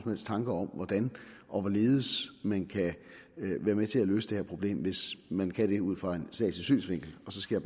helst tanker om hvordan og hvorledes man kan være med til at løse det her problem hvis man kan det ud fra en statslig synsvinkel så skal